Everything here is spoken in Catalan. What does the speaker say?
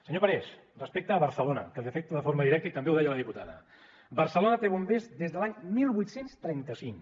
senyor parés respecte a barcelona que li afecta de forma directa i també ho deia la diputada barcelona té bombers des de l’any divuit trenta cinc